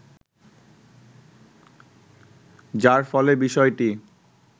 যার ফলে বিষয়টি